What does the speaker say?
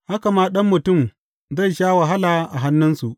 Haka ma Ɗan Mutum zai sha wahala a hannunsu.